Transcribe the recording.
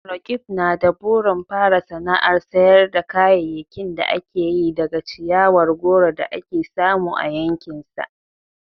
Roqeeb na da burin fara sana'ar sayar da kayayyakin da ake yi daga ciyawar goro da ake samu a yankinsa.